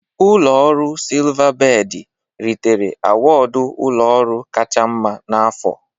Ụlọ ọrụ Silvabedị ritere awọdụ ụlọ ọrụ kacha mma n'afọ.